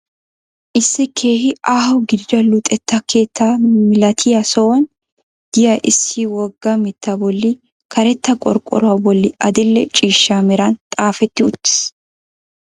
Issi keehi aaho gidida luxetta keetta milatiya sohuwan diya issi wogga mittaa bolli karetta qorqoruwa bolli adil'e ciishsha meran xaafetti uttis.